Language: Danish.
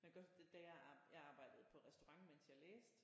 Jeg kan godt da jeg arbejdede jeg arbejdede på restaurant mens jeg læste